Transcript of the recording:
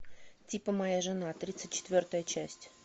типа моя жена тридцать четвертая часть